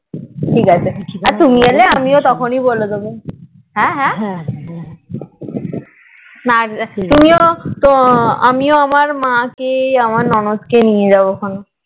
ঠিক আছে আচ্ছা নিয়ে এলে আমিও দেব হ্যাঁ হ্যাঁ আমিও আবার আমার মা কে ননদ কে নিয়ে যাবো খান